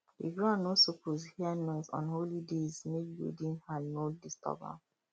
the ground no suppose hear noise on holy days make greedy hand no disturb am